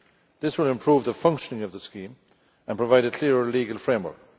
This will improve the functioning of the scheme and provide a clearer legal framework.